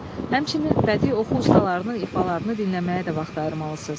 Həmçinin bədii oxu ustalarının ifalarını dinləməyə də vaxt ayırmalısız.